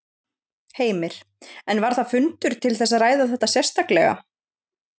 Heimir: En var þar fundur til þess að ræða þetta sérstaklega?